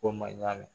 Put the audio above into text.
Ko man ɲa